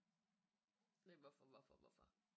Det hvorfor hvorfor hvorfor